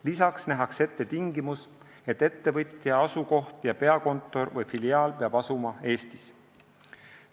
Lisaks nähakse ette tingimus, et ettevõtja asukoht ja peakontor või filiaal peab asuma Eestis.